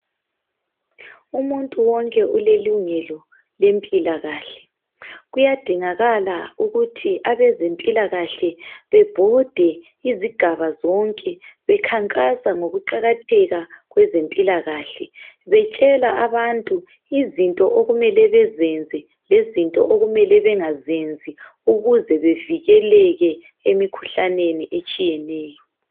Umuntu wonke ulelungelo lempilakahle kuyadingakala ukuthi abezempilakahle bebhode izigaba zonke bekhankasa ngokuqakatheka kwezempilakahle betshela abantu izinto okumele bezenze lezinto okumele bengazenzi ukuze bevikeleke emikhuhlaneni etshiyeneyo.